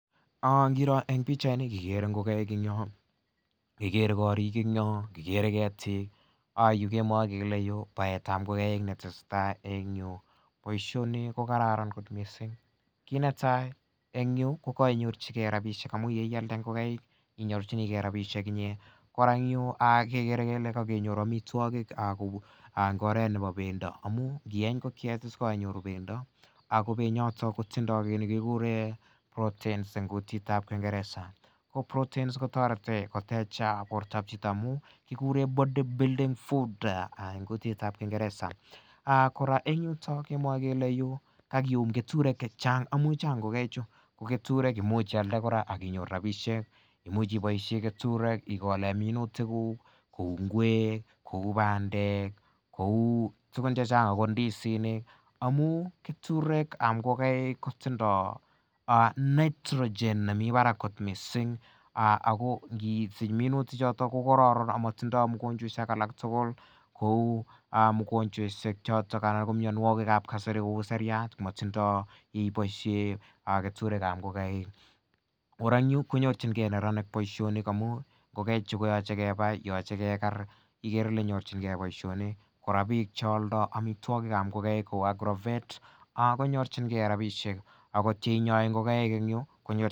Ingiro en pichait ni ikere ngokenik en yotong , kikere korik en yoong, kikere ketik . Amwae kele yu ko baetab ingokaik netesetai boisioni ko kararan kot missing kit netai en yo kokainyorchikee rabisiek amuun yekialdaen ingokaik inyorchikee rabisiek en rabinik. En oret nebo pendo amuun ieny ingokiet kianyoru pendo Ako penyato kotinye kit nekikuren protein en kutitab kingereza ko protein koteche borta chito amuun ih kikuren body building food en kutitab kingereza kora en yuton kemwae kele yu kiumi keturek chachang amuun Chang ingokaik chu . Keturek kimuch ialde aki nyoru rabisiek, imuche ibaishen keturek igoken minutik kuk kouu nguek kouu bandek, kouu tugun chechang kouu ndisinik amuun keturek kab ingokaik kotindoo nitrogen Ako ngisich minutik choton kokaran missing akot mugochwaisiek alak kou mianogig kab kasari iseriar komatinye ibaishen keturekab ingokaik. Kora en yu koyachin ke neranik boisioni ngamun ingokaik chu koyache kebai , yoche keker ikere Ile nyorchinige en boisioni korÃ bich chealdo kou agrovet